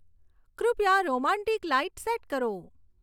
કૃપયા romantic light set કરો